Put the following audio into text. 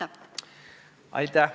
Aitäh!